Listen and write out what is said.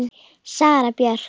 Sara Björk.